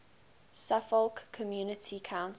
suffolk community council